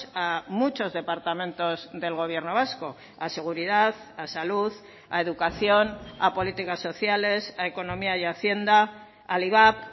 a muchos departamentos del gobierno vasco a seguridad a salud a educación a políticas sociales a economía y hacienda al ivap